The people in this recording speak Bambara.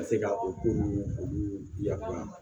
Ka se ka o ko nunnu olu yamaruya